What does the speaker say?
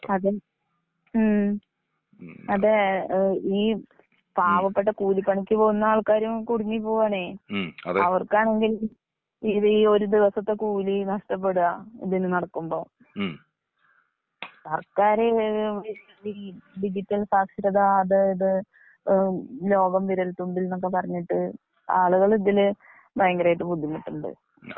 അതെ ഉം അതെ ഏ ഈ പാവം, പാവപ്പെട്ട കൂലിപ്പണിക്ക് പോവുന്ന ആൾക്കാരും കൂടുങ്ങി പോവാണേ. അവർക്കാണെങ്കിൽ ഈ ഒരു ദിവസത്തെ കൂലി നഷ്ടപ്പെടാ ഇതിന് നടക്കുമ്പൊ, സർക്കാര് ഇത് ഈ ഡിജിറ്റൽ സാക്ഷരത അത് ഇത് ലോകം വിരൽത്തുമ്പിൽന്നൊക്കെ പറഞ്ഞിട്ട്, ആളുകള് ഇതില് ഭയങ്കരായിട്ട് ബുദ്ധിമുട്ട്ണ്ട്.